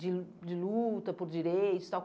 de de luta por direitos e tal.